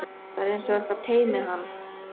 Það er einsog eitthvað teymi hann.